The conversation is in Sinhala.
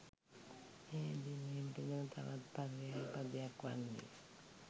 මෙය හැඳින්වීමට යෙදෙන තවත් පර්යාය පදයක් වන්නේ